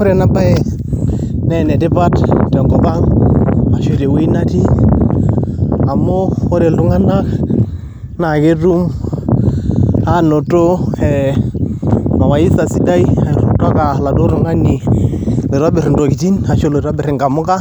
Ore ena baye naa enetipata tenkop ang' arashu tewuei natii amu ore ultung'anak naa ketum aanoto ee mawaidha sidai kutoka oladuo tung'an oitobirr intokitin arashu itobirr inamuka